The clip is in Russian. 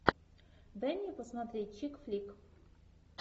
дай мне посмотреть чик флик